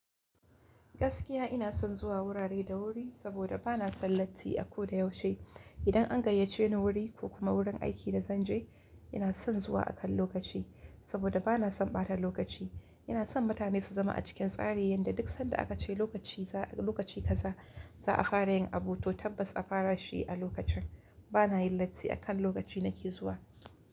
Gaskiya ina son zuwa wurare da wuri saboda ba na son latti a ko da yaushe. Idan an gayyace ni wuri ko kuma wurin aiki da zan je, ina son zuwa akan lokaci saboda ba na son ɓata lokaci. Ina son mutane su zama a cikin tsari yanda duk sanda aka ce lokaci kaza za a fara yin abu to tabbas a fara shi a lokacin. Ba na yin latti akan lokaci nake zuwa.